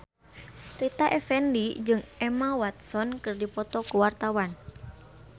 Rita Effendy jeung Emma Watson keur dipoto ku wartawan